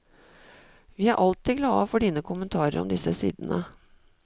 Vi er alltid glade for dine kommentarer om disse sidene.